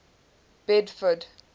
bedford